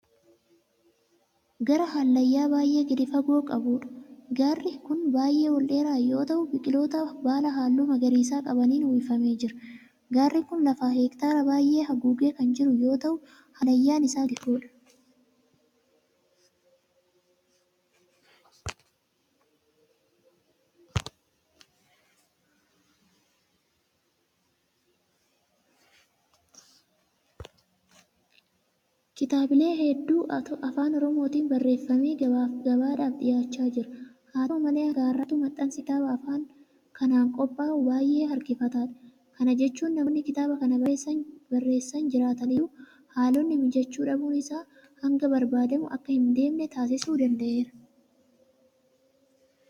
Gaara hallayyaa baay'ee gadi fagoo qabuudha. Gaarri kun baay'ee ol dheeraa yoo ta'u biqiloota baala halluu magariisa qabaniin uwwifamee jira. Gaarri kun lafa hektaara baay'ee haguugee kan jiru yoo ta'u hallayyaan isaa gadi fagoodha.